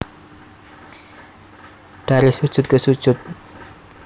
Dari Sujud Ke Sujud